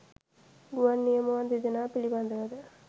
ගුවන් නියමුවන් දෙදෙනා පිළිබඳව ද